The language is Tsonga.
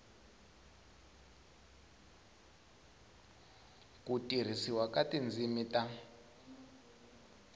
ku tirhisiwa ka tindzimi ta